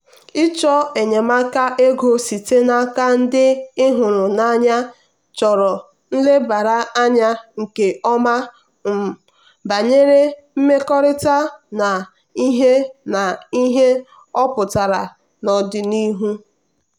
ịchọ enyemaka ego site n'aka ndị ị hụrụ n'anya chọrọ nlebara anya nke ọma um banyere mmekọrịta na ihe na ihe ọ pụtara n'ọdịnihu.